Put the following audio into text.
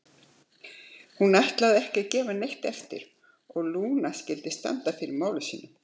Hún ætlaði ekki að gefa neitt eftir og Lúna skyldi standa fyrir máli sínu.